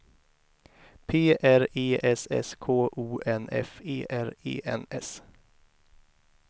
P R E S S K O N F E R E N S